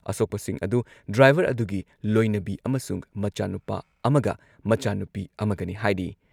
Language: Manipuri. ꯑꯁꯣꯛꯄꯁꯤꯡ ꯑꯗꯨ ꯗ꯭ꯔꯥꯏꯚꯔ ꯑꯗꯨꯒꯤ ꯂꯣꯏꯅꯕꯤ ꯑꯃꯁꯨꯡ ꯃꯆꯥ ꯅꯨꯄꯥ ꯑꯃꯒ ꯃꯆꯥ ꯅꯨꯄꯤ ꯑꯃꯒꯅꯤ ꯍꯥꯏꯔꯤ ꯫